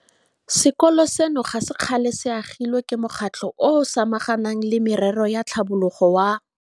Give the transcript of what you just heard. Sekolo seno ga se kgale se agilwe ke mokgatlho o o samaganang le merero ya tlhabologo wa.